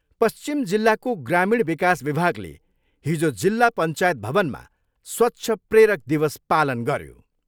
पश्चिम जिल्लाको ग्रामीण विकास विभागले हिजो जिल्ला पञ्चायत भवनमा स्वच्छ प्रेरक दिवस पालन गऱ्यो।